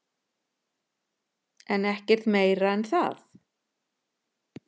En ekkert meira en það.